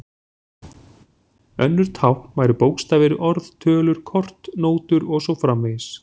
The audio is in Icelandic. Önnur tákn væru bókstafir, orð, tölur, kort, nótur og svo framvegis.